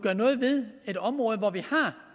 noget ved et område hvor vi